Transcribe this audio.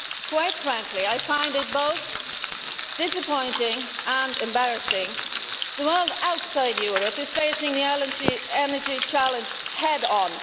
Quite frankly, I find it both disappointing and embarrassing. The world outside of Europe is facing the energy challenge head on.